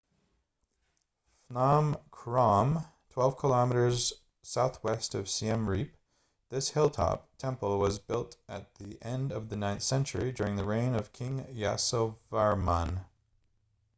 phnom krom 12 km southwest of siem reap this hilltop temple was built at the end of the 9th century during the reign of king yasovarman